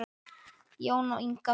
Jón og Inga.